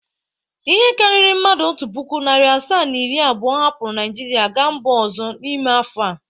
Ihe karịrị mmadụ otu puku, narị asaa na iri abụọ hapụrụ Naịjirịa gaa mba ọzọ n’ime afọ a.